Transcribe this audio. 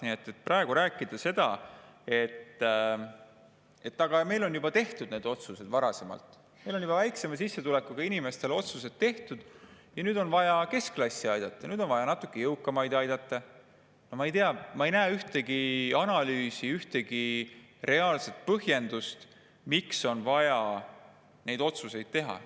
Nii et kui praegu rääkida seda, et aga meil on need otsused juba varem tehtud, meil on juba väiksema sissetulekuga inimestele otsused tehtud, nüüd on vaja keskklassi aidata ja nüüd on vaja natuke jõukamaid aidata – no ma ei tea, ma ei näe ühtegi analüüsi, ühtegi reaalset põhjendust, miks on vaja neid otsuseid teha.